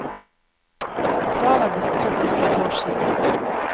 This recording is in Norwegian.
Kravet er bestridt fra vår side.